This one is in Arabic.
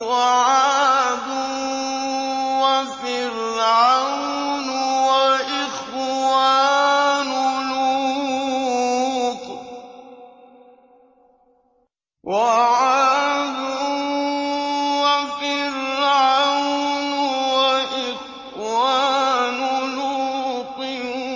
وَعَادٌ وَفِرْعَوْنُ وَإِخْوَانُ لُوطٍ